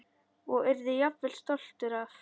Og yrði jafnvel stoltur af.